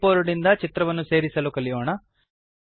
clip board ನಿಂದ ಚಿತ್ರವನ್ನು ಸೇರಿಸಲು ಕಲಿಯೋಣ